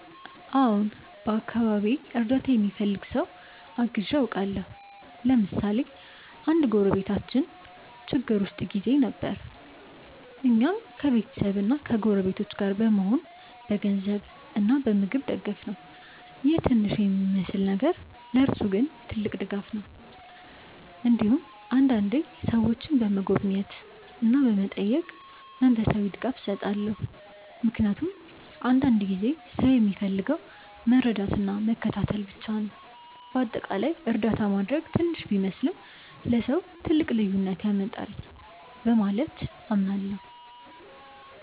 አዎን፣ በአካባቢዬ እርዳታ የሚፈልግ ሰው አግዤ አውቃለሁ። ለምሳሌ አንድ ጎረቤታችን ችግር ውስጥ ጊዜ ነበር፣ እኛም ከቤተሰብና ከጎረቤቶች ጋር በመሆን በገንዘብ እና በምግብ ደገፍነው ይህ ትንሽ የሚመስል ነገር ለእርሱ ግን ትልቅ ድጋፍ ነበር። እንዲሁም አንዳንዴ ሰዎችን በመጎብኘት እና በመጠየቅ መንፈሳዊ ድጋፍ እሰጣለሁ፣ ምክንያቱም አንዳንድ ጊዜ ሰው የሚፈልገው መረዳትና መከታተል ብቻ ነው። በአጠቃላይ እርዳታ ማድረግ ትንሽ ቢመስልም ለሰው ትልቅ ልዩነት ያመጣል ብዬ አምናለሁ።